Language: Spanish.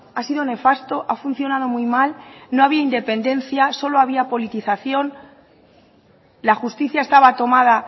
ha sido nefasto ha funcionado muy mal no había independencia solo había politización la justicia estaba tomada